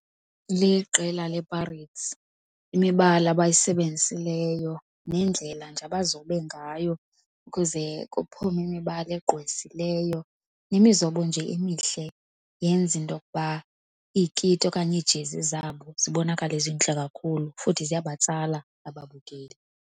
Liqela lePirates. Imibala abayisebenzisileyo neendlela nje abazobe ngayo kuze kuphume imibala egqwesileyo nemizobo nje emihle yenza into yokuba iikiti okanye iijezi zabo zibonakale zintle kakhulu, futhi ziyabatsala ababukeli.